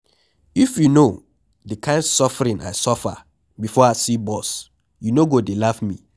If you no the kin suffering I suffer before I see bus you no go dey laugh me